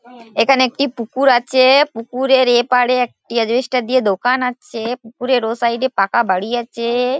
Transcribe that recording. এখানে একটি পুকুর আছে পুকুরের এপারে একটি আসবেস্টোর দিয়ে দোকান আছে পুকুরের ও সাইড এ একটি পাকা বাড়ি আছে।